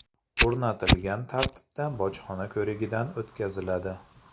o‘rnatilgan tartibda bojxona ko‘rigidan o‘tkaziladi.